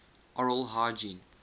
oral hygiene